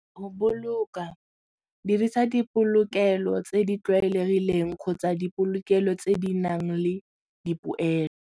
Go boloka, dirisa dipolokelo tse di tlwaelegileng kgotsa dipolokelo tse di nang le dipoelo.